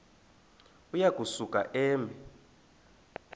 uya kusuka eme